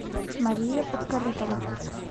мария подкорытова